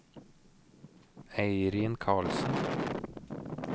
Eirin Karlsen